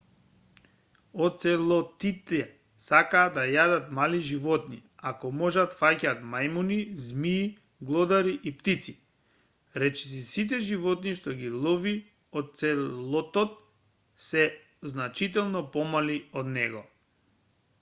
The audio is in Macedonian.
оцелотите сакаат да јадат мали животни ако можат фаќаат мајмуни змии глодари и птици речиси сите животни што ги лови оцелотот се значително помали од него